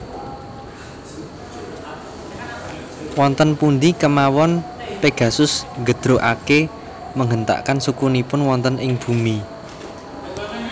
Wonten pundi kemawon Pegasus nggedrugake menghentakkan sukunipun wonten ing bumi